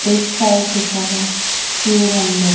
एक साइड लीखा है शिव मंदिर--